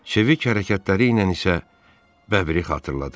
Çevik hərəkətləriylə isə Bəbri xatırladırdı.